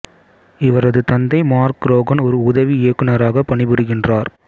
இவரது தந்தை மார்க் ரோகன் ஒரு உதவி இயக்குனராக பணிபுரிகின்றார்